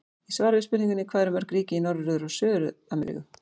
Í svari við spurningunni Hvað eru mörg ríki í Norður- og Suður-Ameríku?